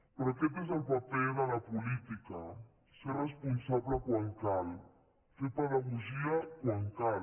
però aquest és el paper de la política ser responsable quan cal fer pedagogia quan cal